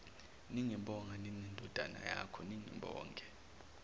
ningibonge ninendodana yakhoningibona